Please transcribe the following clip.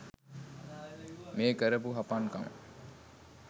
මේ කරපු හපන්කම